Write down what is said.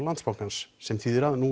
Landsbankans sem þýðir að nú